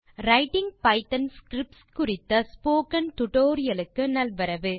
writing Python scripts குறித்த spoken tutorial க்கு நல்வரவு